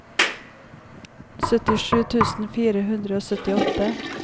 syttisju tusen fire hundre og syttiåtte